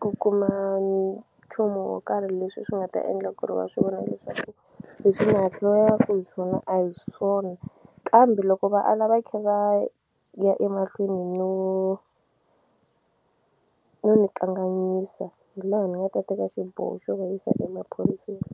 ku kuma nchumu wo karhi leswi swi nga ta endla ku ri va swi vona leswaku leswi ni hi swona a hi swona kambe loko va ala va khe va ya emahlweni no no ni kanganyisa hi laha ni nga ta teka xiboho xo va yisa emaphoriseni.